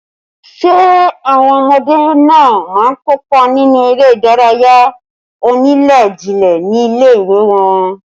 Ṣé àwọn ọmọdé náà má kópa nínú eré ìdárayá onílé-jilé ní ilé ìwé wọn